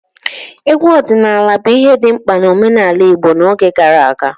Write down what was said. Egwu ọdịnala bụ ihe dị mkpa na omenala Igbo n'oge gara aga.